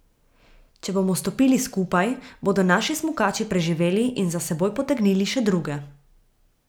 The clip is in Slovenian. Če bomo stopili skupaj, bodo naši smukači preživeli in za seboj potegnili še druge.